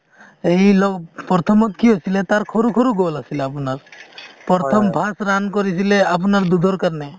প্ৰথমতে কি আছিলে তাৰ সৰু সৰু goal আছিলে আপোনাৰ, প্ৰথম first run কৰিছিলে আপোনাৰ কাৰণে।